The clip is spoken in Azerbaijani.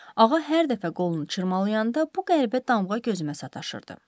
Ağa hər dəfə qolunu çırmalayanda bu qəribə damğa gözümə sataşırdı.